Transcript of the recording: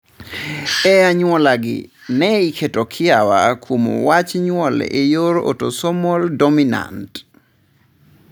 E anyuolagi, ne iketo kiawa kuom wach nyuol e yor otosomal dominant.